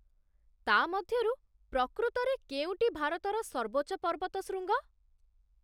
ତା' ମଧ୍ୟରୁ ପ୍ରକୃତରେ କେଉଁଟି ଭାରତର ସର୍ବୋଚ୍ଚ ପର୍ବତଶୃଙ୍ଗ?